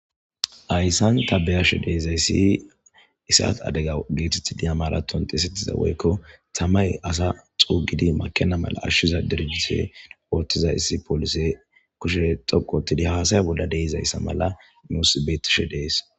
Ayssan tabeyashe deezayssi isat adega geetetidi amaratont esettiza woykko tamay asa xuugidi makena mala ashshiza derfise oottiza issi polise kushe xoqotidi haasaya bolla deizayssa mala muusibeetishe dees.